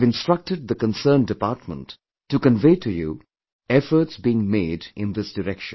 I have instructed the concerned department to convey to you efforts being made in this direction